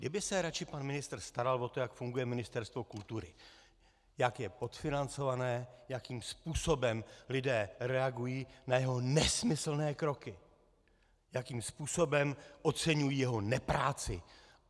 Kdyby se radši pan ministr staral o to, jak funguje Ministerstvo kultury, jak je podfinancované, jakým způsobem lidé reagují na jeho nesmyslné kroky, jakým způsobem oceňují jeho nepráci.